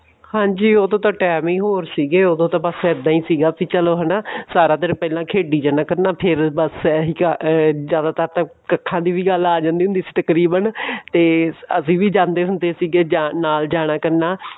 ਹਾਂਜੀ ਉਦੋਂ ਤਾਂ time ਹੀ ਹੋਰ ਸੀਗਏ ਉਦੋਂ ਤਾਂ ਬਸ ਏਦਾਂ ਹੀ ਸੀਗਾ ਕਿ ਚਲੋ ਹਨਾ ਸਾਰਾ ਦਿਨ ਪਹਿਲਾਂ ਖੇਡੀ ਜਾਇਆ ਕਰਨਾ ਫੇਰ ਬਸ ਇਹੀ ਜਿਆਦਾਤਰ ਤਾਂ ਕੱਖਾਂ ਦੀ ਵੀ ਗੱਲ ਆ ਜਾਂਦੀ ਸੀ ਤਕਰੀਬਨ ਤੇ ਅਸੀਂ ਵੀ ਜਾਂਦੇ ਹੁੰਦੇ ਸੀਗੇ ਨਾਲ ਜਾਣਾ ਕਰਨਾ